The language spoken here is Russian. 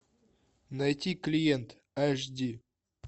найти клиент аш ди